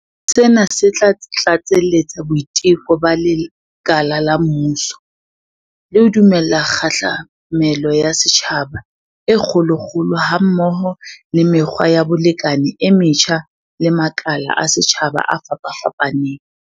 Sena se tla tlatseletsa boiteko ba lekala la mmuso, le ho dumella kgahlamelo ya setjhaba e kgolokgolo hammoho le mekgwa ya bolekane e metjha le makala a setjhaba a fapafapaneng.